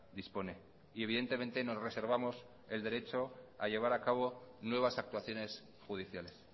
dispone y evidentemente nos reservamos el derecho a llevar a cabo nuevas actuaciones judiciales